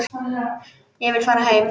Ég vil fara heim.